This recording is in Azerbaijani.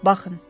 Baxın.